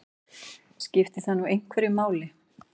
Skiptir það nú einhverju máli?